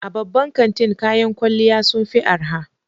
A babban kantin kayan kwalliya sun fi arha